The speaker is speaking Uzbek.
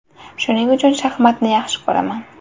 Shuning uchun shaxmatni yaxshi ko‘raman.